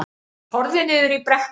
Horfði niður í brekkuna.